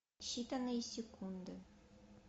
считанные секунды